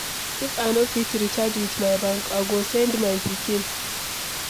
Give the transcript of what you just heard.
If I no fit recharge with my bank, I go send my pikin.